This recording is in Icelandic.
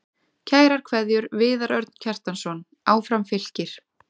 Kærar kveðjur, Viðar Örn Kjartansson Áfram Fylkir